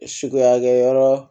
Sukuya kɛ yɔrɔ